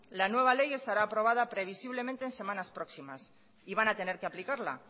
la nueva ley estará aprobada previsiblemente en semanas próximas y van a tener que aplicarla